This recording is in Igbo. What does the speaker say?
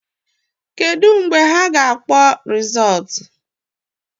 Kedu mgbe ha ga-akpọ rịzọtụ ntulịaka